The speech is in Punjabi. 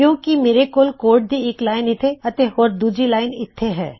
ਕਿੳਂ ਕਿ ਮੇਰੇ ਕੋਲ ਕੋਡ ਦੀ ਇੱਕ ਲਾਇਨ ਇੱਥੇ ਅਤੇ ਹੋਰ ਦੂਜੀ ਲਾਇਨ ਇੱਥੇ ਹੈ